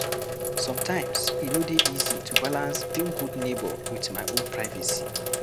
Sometimes e no dey ease to balance being good neighbour with my own privacy.